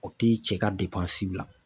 O tɛ cɛ ka bila